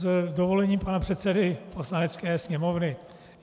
S dovolením pana předsedy Poslanecké sněmovny.